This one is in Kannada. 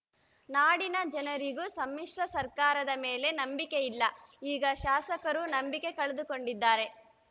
ನಾಡಿನ ಜನರಿಗೂ ಸಮ್ಮಿಶ್ರ ಸರ್ಕಾರದ ಮೇಲೆ ನಂಬಿಕೆ ಇಲ್ಲ ಈಗ ಶಾಸಕರೂ ನಂಬಿಕೆ ಕಳೆದುಕೊಂಡಿದ್ದಾರೆ